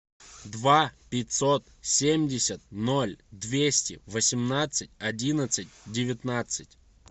два пятьсот семьдесят ноль двести восемнадцать одиннадцать девятнадцать